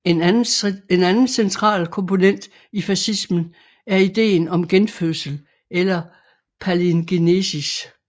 En anden central komponent i fascismen er ideen om genfødsel eller palingenesis